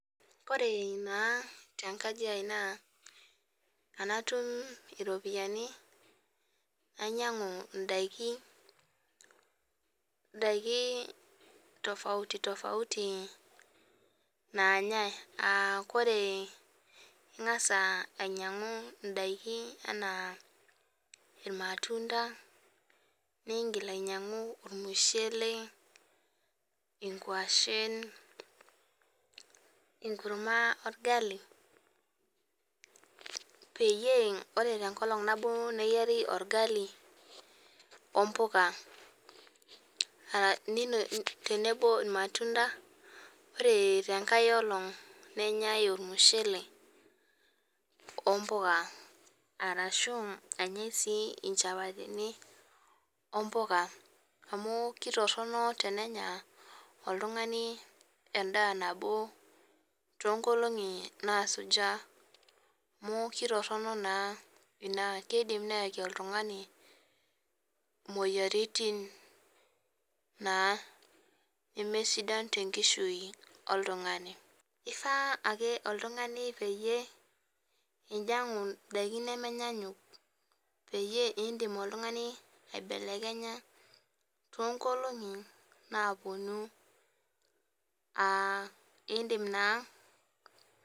Ore naa tenkaji aai na tanatum iropiyiani nainyangu ndakini tofauti tofauti nanyae aa ingasa ainyangu ndakini ana irmatunda ningil ainyangu ormushele ningil ainyangu enkurma orgali peyie ore tenkolong nabo meyieri orgali ompuka teneno irmatunda ore tenkae oleng nenyae ormushele ompuka ashu enyae nchapatini ompuka amu ketoronok enenya oltungani endaanabo kidim neyaki oltungani imoyiaritin na nemesidan tenkishui oltungani ifaa ake oltungani pinyangu ndakini nemenyanyuk pindim aibelekenya tonkolongi naaponu aa indim naa